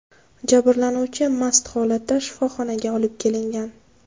Jabrlanuvchi mast holatda shifoxonaga olib kelingan.